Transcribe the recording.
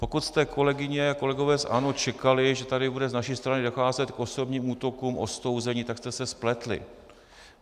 Pokud jste, kolegyně a kolegové z ANO, čekali, že tady bude z naší strany docházet k osobním útokům, ostouzení, tak jste se spletli.